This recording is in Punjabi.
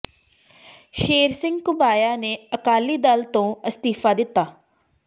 ਸ਼ੇਰ ਸਿੰਘ ਘੁਬਾਇਆ ਨੇ ਅਕਾਲੀ ਦਲ ਤੋਂ ਅਸਤੀਫ਼ਾ ਦਿੱਤਾ